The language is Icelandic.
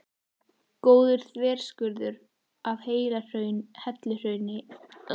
Góður þverskurður af helluhrauni er í Almannagjá.